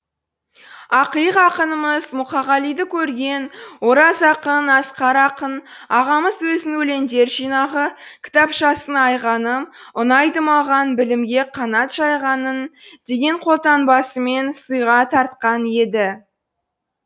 ақиық ақынымыз мұқағалиды көрген ораз ақын асқар ақын ағамыз өзінің өлеңдер жинағы кітапшасын айғаным ұнайды маған білімге қанат жайғаның деген қолтаңбасымен сыйға тартқан еді